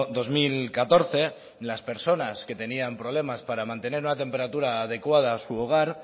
dos mil catorce las personas que tenían problemas para mantener una temperatura adecuada en su hogar